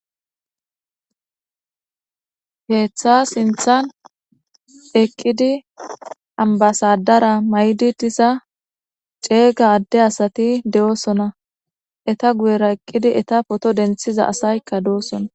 Keeththa sinthan eqqidi ambasadara may'di diza ceega adde asati de'osona. eta guyera eqqidi eta poto denthiza asaykka de'osona.